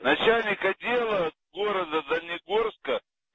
начальник отдела города дальнегорска